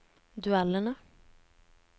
duellene